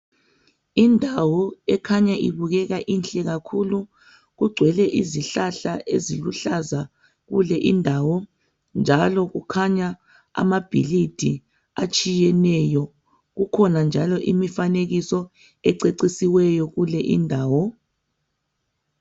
Indawo ekhanya ibukeka inhle kakhulu kugcwele izihlahla eziluhlaza kule indawo njalo kukhanya amabhilidi atshiyeneyo kukhona njalo imifanekiso ececesiweyo kele indawo.